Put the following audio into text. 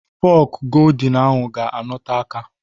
Fọk goldin ahụ ga-anote aka